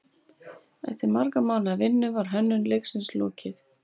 Eftir margra mánaða vinnu var hönnun leiksins lokið.